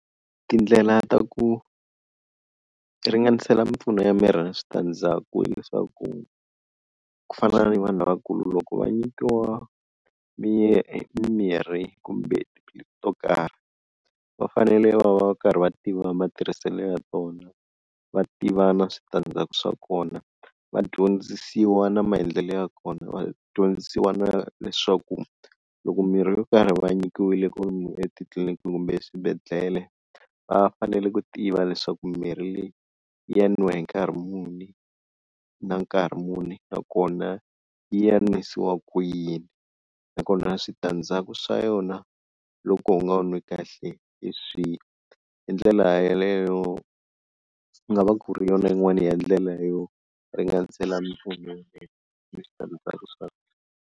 Tindlela ta ku ringanisela mimpfuno ya miri ni switandzaku hileswaku ku fana ni vanhu lavakulu loko va nyikiwa mimirhi kumbe tiphilisi to karhi, va fanele va va karhi va tiva matirhiselo ya tona va tiva na switandzhaku swa kona, va dyondzisiwa na maendlelo ya kona, va dyondzisiwa na leswaku loko mirhi yo karhi va nyikiwile etitliliniki kumbe swibedhlele va fanele ku tiva leswaku mirhi leyi ya nwiwa hi nkarhi muni na nkarhi muni, nakona yi ya nwisiwa ku yini nakona switandzhaku swa yona loko u nga wu nwi kahle hi swihi, hi ndlela yaleyo ku nga va ku ri yona yin'wana ya ndlela yo ringanisela ni switandzhaku swa .